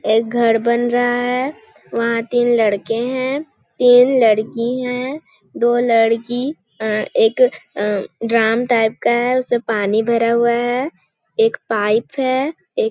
एक घर बन रहा है वहाँ तीन लड़के है तीन लड़की है दो लड़की अअअ एक अअअ ड्राम टाइप का है उसमें पानी भरा हुआ है एक पाइप है एक --